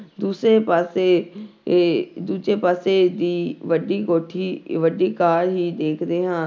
ਦੂਸਰੇ ਪਾਸੇ ਏ ਦੂਜੇ ਪਾਸੇ ਦੀ ਵੱਡੀ ਕੋਠੀ ਵੱਡੀ ਕਾਰ ਹੀ ਦੇਖਦੇ ਹਾਂ,